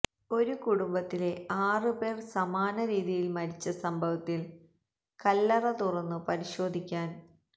ഒരു കുടുംബത്തിലെ ആറു പേര് സമാനരീതിയില് മരിച്ച സംഭവത്തില് കല്ലറ തുറന്നു പരിശോധിക്കാന്